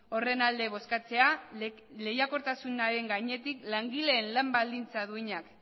horren alde bozkatzea lehiakortasun gainetik langileen lan baldintza duinak